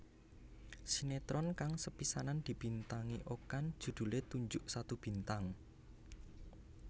Sinetron kang sepisanan dibintangi Okan judhulé Tunjuk Satu Bintang